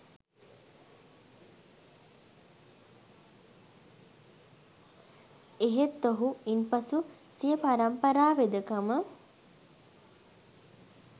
එහෙත් ඔහු ඉන්පසු සිය පරම්පරා වෙදකම